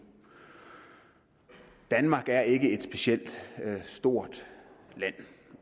danmark er ikke et specielt stort land